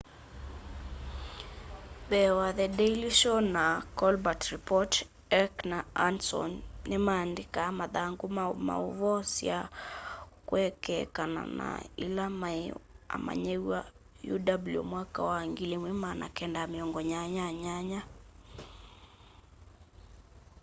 mbee wa the daily show na the colbert report heck na johndson ni maandĩkaa mathangũ ma maũvoo sya kwekeekana na ila maĩ amanyĩwa uw mwaka wa 1988